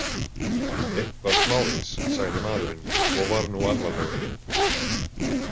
Eitthvað smávegis, sagði maðurinn og var nú alvarlegur.